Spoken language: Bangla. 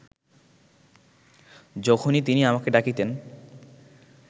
যখনই তিনি আমাকে ডাকিতেন